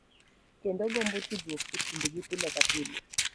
Kendo gombo tudruok e kindgi pile ka pile.